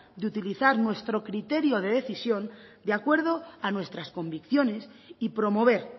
de utilizar nuestro criterio de decisión de acuerdo a nuestras convicciones y promover